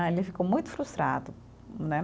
Ah, ele ficou muito frustrado, né?